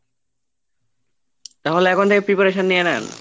তাহলে এখন থেকে preparation নিয়ে নেন।